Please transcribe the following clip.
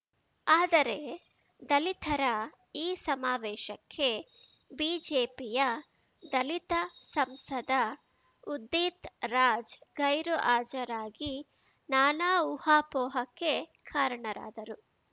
ಆದರೆ ದಲಿತರ ಈ ಸಮಾವೇಶಕ್ಕೆ ಬಿಜೆಪಿಯ ದಲಿತ ಸಂಸದ ಉದ್ದೀತ್‌ ರಾಜ್‌ ಗೈರು ಹಾಜರಾಗಿ ನಾನಾ ಊಹಾಪೋಹಕ್ಕೆ ಕಾರಣರಾದರು